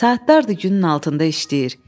Saatlardır günün altında işləyir.